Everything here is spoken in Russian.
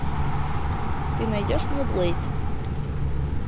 ты найдешь мне блэйд